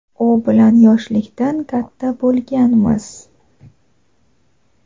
u bilan yoshlikdan katta bo‘lganmiz.